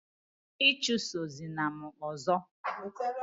ichusozina m ọzọ!